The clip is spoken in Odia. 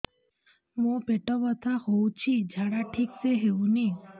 ମୋ ପେଟ ବଥା ହୋଉଛି ଝାଡା ଠିକ ସେ ହେଉନି